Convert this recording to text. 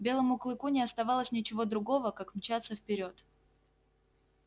белому клыку не оставалось ничего другого как мчаться вперёд